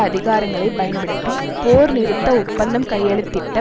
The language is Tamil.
அதிகாரங்களை பயன்படுத்தி போர் நிறுத்த ஒப்பந்தம் கையெழுத்திட்ட